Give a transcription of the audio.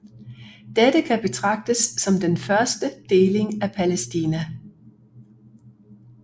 Dette kan betragtes som den første deling af Palæstina